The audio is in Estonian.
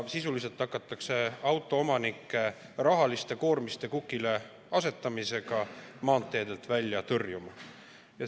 Sisuliselt hakatakse autoomanikke rahaliste koormiste kukileasetamisega maanteedelt välja tõrjuma.